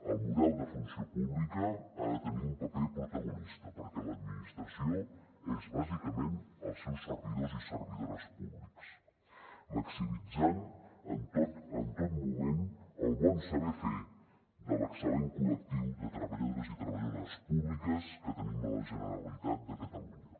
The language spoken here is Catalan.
el model de funció pública ha de tenir un paper protagonista perquè l’administració és bàsicament els seus servidors i servidores públics maximitzant en tot moment el bon saber fer de l’excel·lent col·lectiu de treballadors i treballadores públics que tenim a la generalitat de catalunya